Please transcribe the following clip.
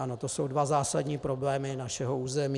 Ano, to jsou dva zásadní problémy našeho území.